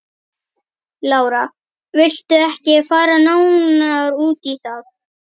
Lára: Viltu ekki fara nánar út í það?